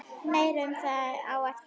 Meira um það á eftir.